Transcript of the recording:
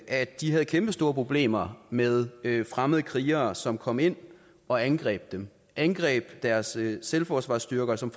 at de havde kæmpestore problemer med fremmede krigere som kom ind og angreb dem angreb deres selvforsvarsstyrker som